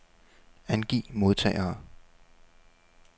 Angiv modtagere.